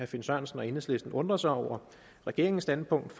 finn sørensen og enhedslisten undrer sig over regeringens standpunkt